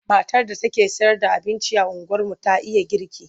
Matar da take sayarda abinci a unguwarmu ta iya girki.